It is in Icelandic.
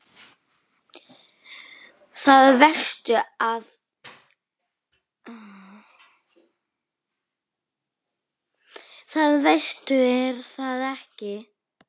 Það veistu er það ekki?